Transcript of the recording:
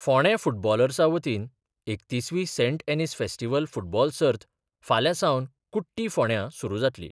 फोंडें फुटबॉलर्सा वतीन एकतीसवी सेंट एनीस फेस्टीव्हल फुटबॉल सर्त फाल्यां सावन कुट्टी फोंड्यां सुरू जातली.